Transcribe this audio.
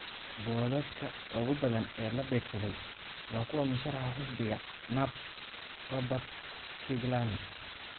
Boodhadhka ugu badan ee la beegsaday waa kuwa musharaxa xisbiga NUP, Robert Kyagulani.